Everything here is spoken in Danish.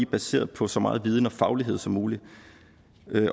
baseret på så meget viden og faglighed som muligt